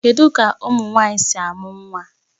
Kedu ka ụmụ nwanyị si a mụ nwa?